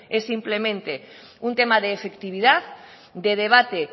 es simplemente un tema de efectividad de debate